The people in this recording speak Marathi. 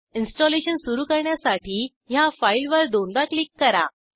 इन्स्टॉलेशन सुरू करण्यासाठी ह्या फाईलवर दोनदा क्लिक करा